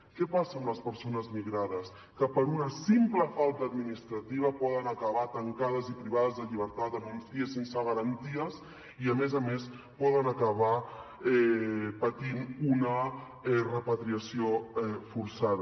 què passa amb les persones migrades que per una simple falta administrativa poden acabar tancades i privades de llibertat en un cie sense garanties i a més a més poden acabar patint una repatriació forçada